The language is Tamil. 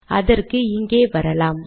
அதற்கு இங்கே வரலாம்